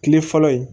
Kile fɔlɔ ye